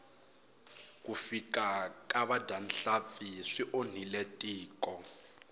ku fika ka vadyahlampfi swi onhile tiko